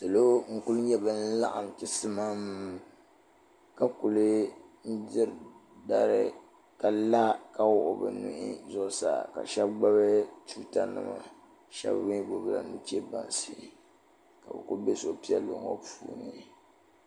Salo n ku nyɛ bin laɣim chisimam ka kuli diri dari ka la ka wuɣi bi nuhi zuɣusaa ka shɛba gbubi tuuta nima shɛba mi gbubi la nuche bansi ka bi ku bɛ suhupiɛlli ŋɔ puuni.